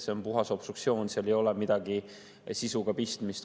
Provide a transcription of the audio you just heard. See on puhas obstruktsioon, seal ei ole midagi sisuga pistmist.